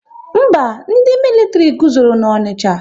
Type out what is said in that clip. Mba, ndị militiri guzoro n'Onicha